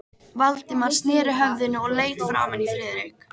Valdimar sneri höfðinu og leit framan í Friðrik.